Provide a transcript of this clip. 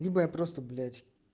либо я просто блять